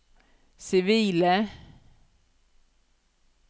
sivile